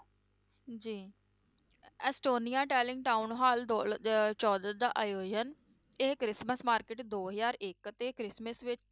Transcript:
ਜੀ Estonia talent town hall ਦੋ ਹਜ਼ਾਰ ਚੋਦਾਂ ਦਾ ਆਯੋਜਨ, ਇਹ ਕ੍ਰਿਸਮਸ market ਦੋ ਹਜ਼ਾਰ ਇੱਕ ਤੇ ਕ੍ਰਿਸਮਸ ਵਿ~